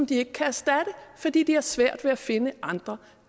de ikke kan erstatte fordi de har svært ved at finde andre